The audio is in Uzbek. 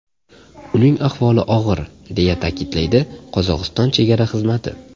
Uning ahvoli og‘ir”, deya ta’kidlaydi Qozog‘iston Chegara xizmati.